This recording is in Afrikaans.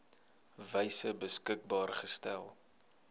wyse beskikbaar gestel